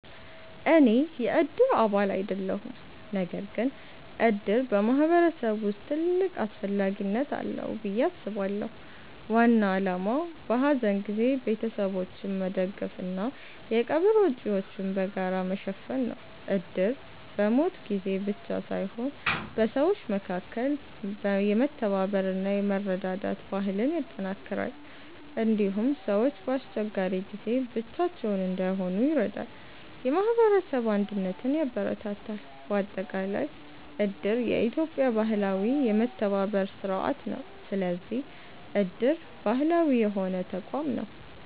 እኔ የእድር አባል አይደለሁም። ነገር ግን እድር በማህበረሰብ ውስጥ ትልቅ አስፈላጊነት አለው ብዬ አስባለሁ። ዋና ዓላማው በሐዘን ጊዜ ቤተሰቦችን መደገፍ እና የቀብር ወጪዎችን በጋራ መሸፈን ነው። እድር በሞት ጊዜ ብቻ ሳይሆን በሰዎች መካከል የመተባበር እና የመረዳዳት ባህልን ያጠናክራል። እንዲሁም ሰዎች በአስቸጋሪ ጊዜ ብቻቸውን እንዳይሆኑ ይረዳል፣ የማህበረሰብ አንድነትን ያበረታታል። በአጠቃላይ እድር የኢትዮጵያ ባህላዊ የመተባበር ስርዓት ነው። ስለዚህ እድር ባህላዊ የሆነ ተቋም ነው።